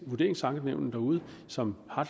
vurderingsankenævnene derude som har